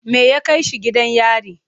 Me ya kai shi gidan yari?